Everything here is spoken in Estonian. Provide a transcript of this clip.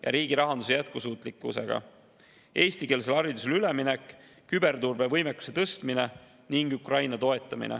ja riigi rahanduse jätkusuutlikkusega, eestikeelsele haridusele üleminek, küberturbe võimekuse tõstmine ning Ukraina toetamine.